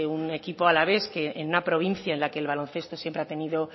un equipo alavés en una provincia en la que el baloncesto siempre ha tenido